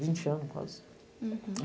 Tem vinte anos quase. Hurum.